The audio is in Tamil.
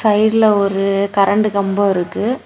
சைடுல ஒரு கரண்ட் கம்போ இருக்கு.